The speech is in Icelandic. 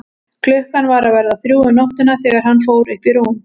Klukkan var að verða þrjú um nóttina þegar hann fór upp í rúm.